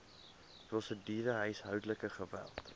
prosedure huishoudelike geweld